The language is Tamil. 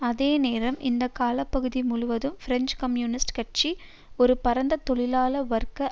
அதே நேரம் இந்த காலப்பகுதி முழுவதும் பிரெஞ்சு கம்யூனிஸ்ட் கட்சி ஒரு பரந்த தொழிலாள வர்க்க